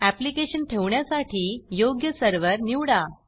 application ठेवण्यासाठी योग्य server निवडा